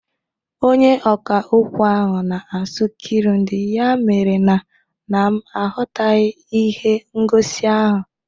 Onyeọkà okwu ahụ na-asụ Kirundi ya mere na m aghọtaghị ihe ngosi ahụ